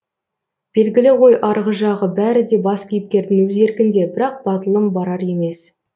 белгілі ғой арғы жағы бәрі де бас кейіпкердің өз еркінде бірақ батылым барар емес